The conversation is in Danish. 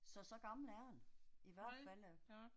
Så så gammel er hun. I hvert fald da